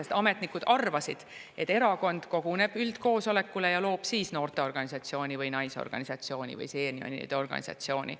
Sest ametnikud arvasid, et erakond koguneb üldkoosolekule ja loob siis noorteorganisatsiooni või naisorganisatsiooni või seenioride organisatsiooni.